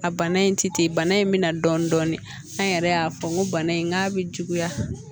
A bana in ti ten bana in me na dɔɔnin an yɛrɛ y'a fɔ n ko bana in n'a bi juguya